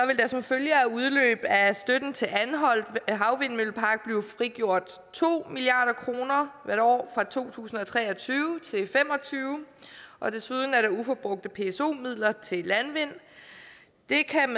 som følge af udløb af støtten til anholt havvindmøllepark blive frigjort to milliard kroner hvert år fra to tusind og tre og tyve til og fem og tyve og desuden er der uforbrugte pso midler til landvind det kan